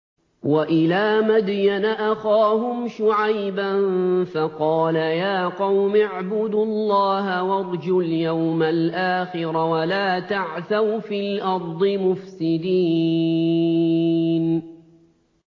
وَإِلَىٰ مَدْيَنَ أَخَاهُمْ شُعَيْبًا فَقَالَ يَا قَوْمِ اعْبُدُوا اللَّهَ وَارْجُوا الْيَوْمَ الْآخِرَ وَلَا تَعْثَوْا فِي الْأَرْضِ مُفْسِدِينَ